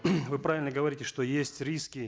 вы правильно говорите что есть риски